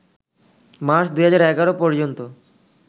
March ২০১১ পর্যন্ত